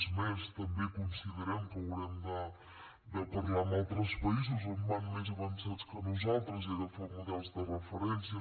és més també considerem que haurem de parlar amb altres països on van més avançats que nosaltres i agafar models de referència